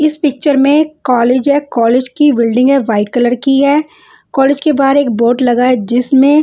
इस पिक्चर में कॉलेज है कॉलेज की बिल्डिंग है वाइट कलर की है कॉलेज के बाहर एक बोट लगा है जिसमें--